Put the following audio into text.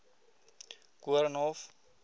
koornhof